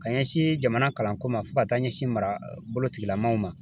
Ka ɲɛsin jamana kalanko ma fo ka taa ɲɛsin marabolo tigilamaw ma